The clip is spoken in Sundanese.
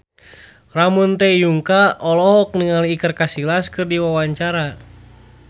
Ramon T. Yungka olohok ningali Iker Casillas keur diwawancara